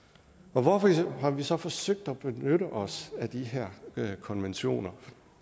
hvorfor har vi så forsøgt at benytte os af de her konventioner